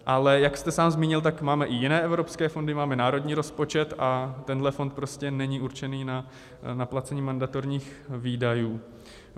Ale jak jste sám zmínil, tak máme i jiné evropské fondy, máme národní rozpočet a tenhle fond prostě není určený na placení mandatorních výdajů.